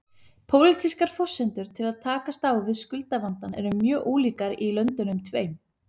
Pólitískar forsendur til að takast á við skuldavandann eru mjög ólíkar í löndunum tveim.